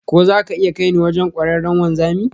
Ko za ka iya kai ni wajen kwararren wanzami?